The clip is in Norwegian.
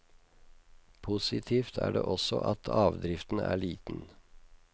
Positivt er det også at avdriften er liten.